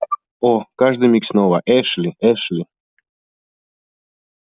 о каждый миг снова эшли эшли